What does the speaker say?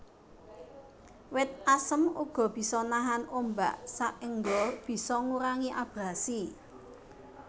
Wit asem uga bisa nahan ombak saengga bisa ngurangi abrasi